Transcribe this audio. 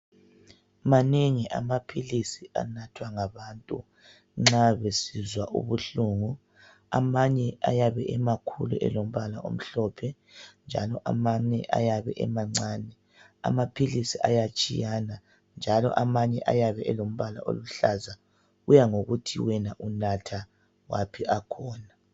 Manengi amaphilisi anathwa ngabantu, nxa besizwa ubuhlungu. Amanye ayabe emakhulu elombala omhlophe njalo amanye ayabe emancane. Amaphilisi ayatshiyana njalo amanje ayabe elombala oluhlaza. Kuyangokuthi wena unatha waphi akhona.